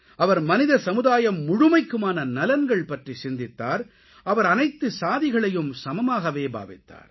அவர் மனித சமுதாயம் முழுமைக்குமான நலன்கள் பற்றி சிந்தித்தார் அவர் அனைத்து சாதிகளையும் சமமாகவே பாவித்தார்